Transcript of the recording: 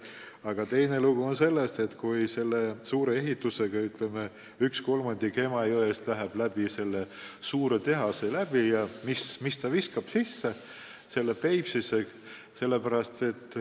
Aga teine lugu on see, kui selle suure ehituse tõttu, ütleme, 1/3 Emajõest läheb läbi selle suure tehase ja mida ta siis Peipsisse sisse viib.